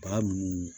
Ba minnu